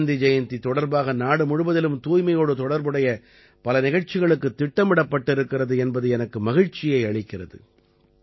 காந்தி ஜயந்தி தொடர்பாக நாடு முழுவதிலும் தூய்மையோடு தொடர்புடைய பல நிகழ்ச்சிகளுக்குத் திட்டமிடப்பட்டிருக்கிறது என்பது எனக்கு மகிழ்ச்சியை அளிக்கிறது